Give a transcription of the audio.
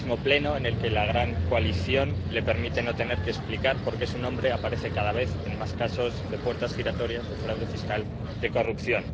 el mismo Pleno en el que la gran coalición le permite no tener que explicar por qué su nombre aparece cada vez en más casos de puertas giratorias, de fraude fiscal, de corrupción...